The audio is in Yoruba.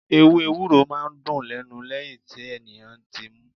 Ewé Ewúro máa ń dùn lẹ́nu lẹ́yìn tí ènìyàn ti mú.